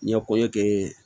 N ye koɲɛ kɛ